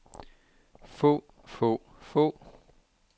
få få få